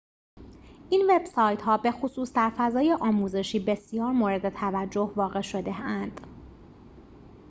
این وب‌سایت‌ها بخصوص در فضای آموزشی بسیار موردتوجه واقع شده‌اند